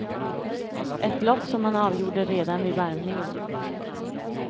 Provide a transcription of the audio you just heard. Ett lopp som han avgjorde redan vid varvningen.